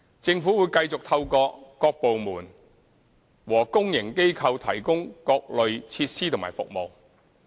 政府會繼續透過各部門和公營機構提供各類設施和服務。